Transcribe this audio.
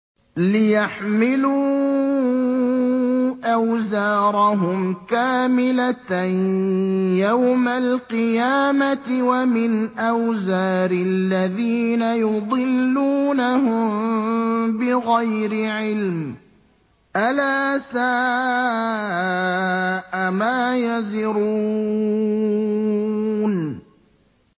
لِيَحْمِلُوا أَوْزَارَهُمْ كَامِلَةً يَوْمَ الْقِيَامَةِ ۙ وَمِنْ أَوْزَارِ الَّذِينَ يُضِلُّونَهُم بِغَيْرِ عِلْمٍ ۗ أَلَا سَاءَ مَا يَزِرُونَ